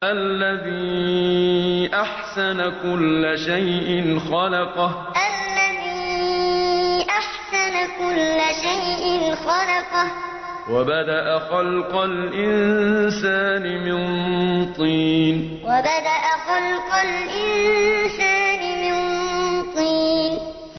الَّذِي أَحْسَنَ كُلَّ شَيْءٍ خَلَقَهُ ۖ وَبَدَأَ خَلْقَ الْإِنسَانِ مِن طِينٍ الَّذِي أَحْسَنَ كُلَّ شَيْءٍ خَلَقَهُ ۖ وَبَدَأَ خَلْقَ الْإِنسَانِ مِن طِينٍ